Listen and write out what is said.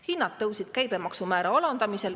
Hinnad tõusid, kuigi käibemaksu määra alandati.